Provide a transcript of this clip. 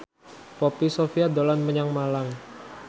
Poppy Sovia dolan menyang Malang